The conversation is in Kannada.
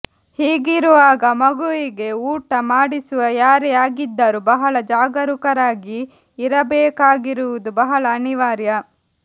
ಹೀಗಿರುವಾಗ ಮಗುವಿಗೆ ಊಟ ಮಾಡಿಸುವ ಯಾರೇ ಆಗಿದ್ದರೂ ಬಹಳ ಜಾಗರೂಕರಾಗಿ ಇರಬೇಕಾಗಿರುವುದು ಬಹಳ ಅನಿವಾರ್ಯ